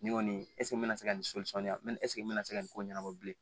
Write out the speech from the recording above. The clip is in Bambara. Ne kɔni me se ka nin me se ka nin ko ɲɛnabɔ bilen